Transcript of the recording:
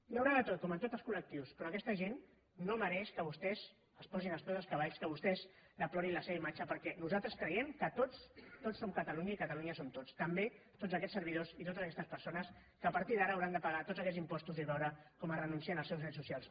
hi deu haver de tot com en tots els col·lectius però aquesta gent no mereix que vostès els posin als peus dels cavalls que vostès deplorin la seva imatge perquè nosaltres creiem que tots tots som catalunya i catalunya som tots també tots aquests servidors i totes aquestes persones que a partir d’ara hauran de pagar tots aquests impostos i veure com es renuncia als seus drets socials